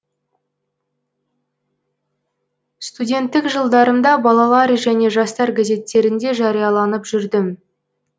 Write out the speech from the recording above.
студенттік жылдарымда балалар және жастар газеттерінде жарияланып жүрдім